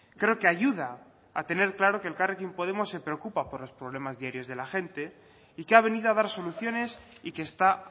creo que ayuda a tener claro que elkarrekin podemos se preocupa por los problemas diarios de la gente y que ha venido a dar soluciones y que está